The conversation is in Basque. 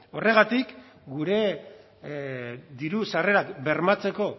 horregatik gure diru sarrerak bermatzeko